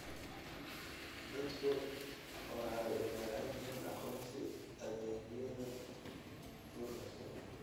Dadku waxay u baahan yihiin aqoonsi adeegyada gurmadka.